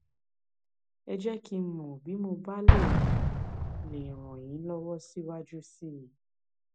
ẹ jẹ kí n mọ bí mo bá lè ràn lè ràn yín lọwọ síwájú sí i